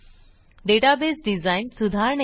database design सुधारणे